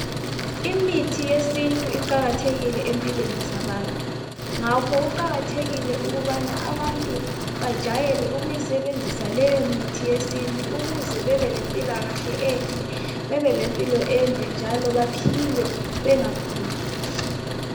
Imithi yesintu iqakathekile empilweni zabantu ngakho kuqakathekile ukubana abantu bajwayele ukuyisebenzisa leyo mithi yesintu ukuze bebelempilakahle enhle bebelempilo ende njalo baphile bengaguli.